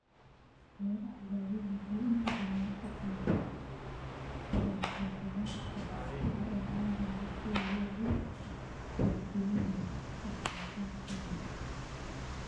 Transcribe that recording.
Beeraha waaweyni waxay inta badan la shaqeeyaan warshadeeyayaasha cuntada ee caalamiga ah si ay u qaybiyaan wax soo saarkooda.